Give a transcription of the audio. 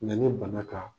Yanni bana ka